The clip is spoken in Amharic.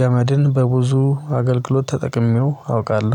ገመድን በብዙ አገልግሎት ተጠቅሜው አውቃለሁ